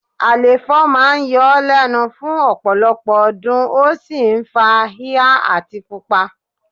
Àléfọ̀ máa ń yọ ọ́ lẹ́nu fún ọ̀pọ̀lọpọ̀ ọdún, ó sì ń fa híhá àti pupa